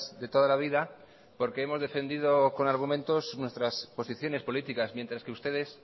de toda la vida porque hemos defendido con argumentos nuestras posiciones políticas mientras que ustedes